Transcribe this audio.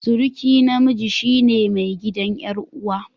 Suruki namiji shine mai gidan yar'uwa.